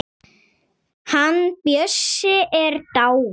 Hann Bjössi er dáinn.